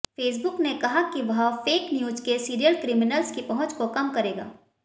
Facebook ने कहा कि वह फेक न्यूज के सीरियल क्रिमिनल्स की पहुंच को कम करेगा